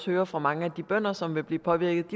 hører fra mange af de bønder som vil blive påvirket